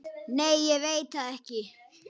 Nei ég veit það ekki.